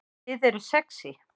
Þið eruð sexý